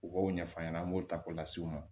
U b'o ɲɛf'a ɲɛna an b'o ta k'o lase u ma